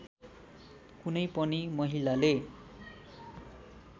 कुनै पनि महिलाले